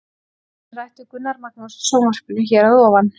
Nánar er rætt við Gunnar Magnús í sjónvarpinu hér að ofan.